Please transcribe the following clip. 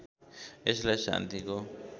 यसलाई शान्तिको